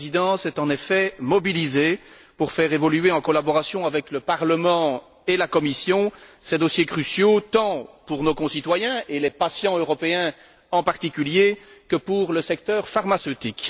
La Présidence est, en effet, mobilisée pour faire évoluer, en collaboration avec le Parlement et la Commission, ces dossiers cruciaux, tant pour nos concitoyens et les patients européens en particulier, que pour le secteur pharmaceutique.